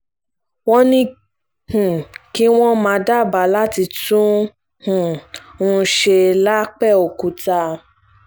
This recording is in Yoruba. wọ́n ní um kí wọ́n má dábàá láti tún um un ṣe lápbèòkúta